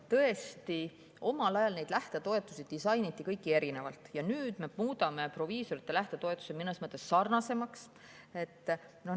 Tõesti, omal ajal neid lähtetoetusi disainiti kõiki erinevalt ja nüüd me muudame proviisorite lähtetoetuse mõnes mõttes sarnasemaks.